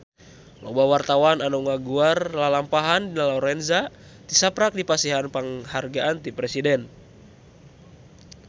Loba wartawan anu ngaguar lalampahan Dina Lorenza tisaprak dipasihan panghargaan ti Presiden